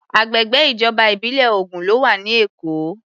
Agbègbè ìjọba ìbílẹ̀ ogún ló wà ní Èkó.